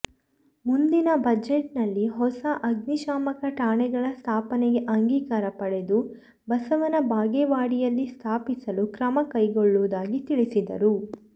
ಮುಂದಿನ ಬಜೆಟ್ನಲ್ಲಿ ಹೊಸ ಅಗ್ನಿಶಾಮಕ ಠಾಣೆಗಳ ಸ್ಥಾಪನೆಗೆ ಅಂಗೀಕಾರ ಪಡೆದು ಬಸವನಬಾಗೇವಾಡಿಯಲ್ಲಿ ಸ್ಥಾಪಿಸಲು ಕ್ರಮ ಕೈಗೊಳ್ಳುವುದಾಗಿ ತಿಳಿಸಿದರು